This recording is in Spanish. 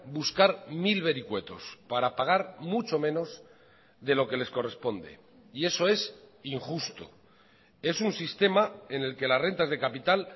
buscar mil vericuetos para pagar mucho menos de lo que les corresponde y eso es injusto es un sistema en el que las rentas de capital